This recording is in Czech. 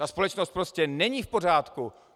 Ta společnost prostě není v pořádku.